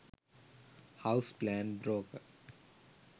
house plan broker